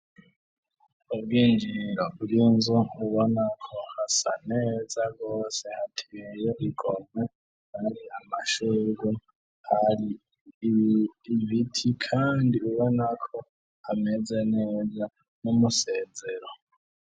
Ubwinjiriro bw’inzu ubonako hasa neza gose hateye igomwe ari amashuri hari ibiti kandi ubonako ameze neza n'umusezero.